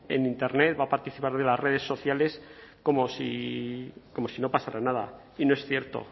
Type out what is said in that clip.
en internet va a participar de las redes sociales como si no pasara nada y no es cierto